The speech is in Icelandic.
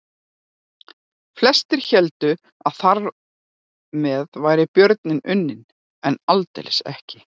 Flestir héldu að þar með væri björninn unninn en aldeilis ekki.